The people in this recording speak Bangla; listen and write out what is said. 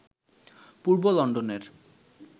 পূর্ব লন্ডনের